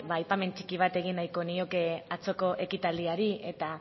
ba aipamen txiki bat egin nahiko nioke atzoko ekitaldiari eta